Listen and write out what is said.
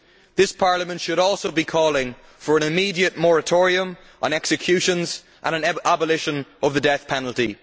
This Parliament should also be calling for an immediate moratorium on executions and the abolition of the death penalty.